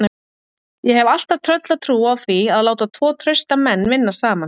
Ég hef alltaf tröllatrú á því að láta tvo trausta menn vinna saman.